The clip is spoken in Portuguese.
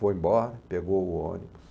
Foi embora, pegou o ônibus.